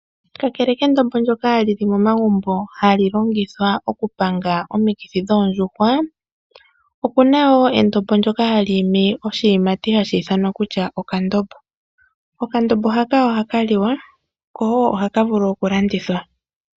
Kakele kendombo ndyoka lyi li momagumbo hali panga omikithi dhoondjuhwa, oku na wo endombo ndyoka hali imi oshiyimati hashi ithanwa okandombo . Okandombo haka ohaka liwa noha ka vulu woo okulandithwa.